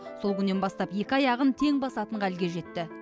сол күннен бастап екі аяғын тең басатын халге жетті